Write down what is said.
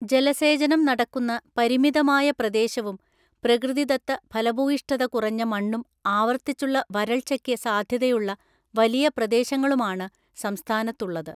ജലസേചനം നടക്കുന്ന പരിമിതമായ പ്രദേശവും പ്രകൃതിദത്ത ഫലഭൂയിഷ്ഠത കുറഞ്ഞ മണ്ണും ആവർത്തിച്ചുള്ള വരൾച്ചയ്ക്ക് സാധ്യതയുള്ള വലിയ പ്രദേശങ്ങളുമാണ് സംസ്ഥാനത്തുള്ളത്.